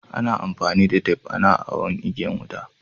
Ana amfani da tep ana awon igiyan wuta.